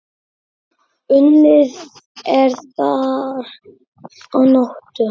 Unnið er þar að nóttu.